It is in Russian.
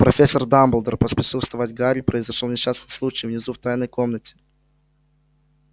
профессор дамблдор поспешил вставать гарри произошёл несчастный случай внизу в тайной комнате